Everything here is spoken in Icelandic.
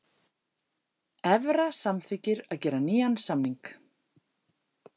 Evra samþykkir að gera nýjan samning